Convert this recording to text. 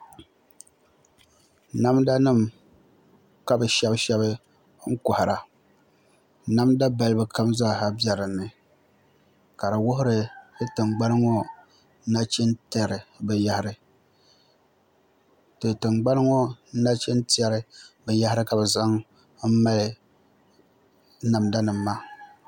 Namda nim ka bi shɛbi shɛbi n kohara namda balibu kam zaaha bɛ dinni ka di wuhuri ti tingbani ŋɔ nachin tiɛri binyɛra ti tingbani ŋɔ nachin tiɛri binyahari ka bi zaŋ mali namda nim maa